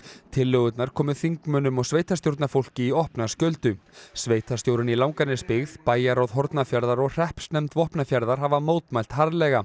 tillögurnar komu þingmönnum og sveitarstjórnarfólki í opna skjöldu sveitarstjórinn í Langanesbyggð bæjarráð Hornafjarðar og hreppsnefnd Vopnafjarðar hafa mótmælt harðlega